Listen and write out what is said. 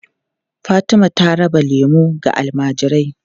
Fatima ta raba lemu ga almajirai.